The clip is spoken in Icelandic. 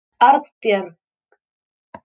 Arnbjörg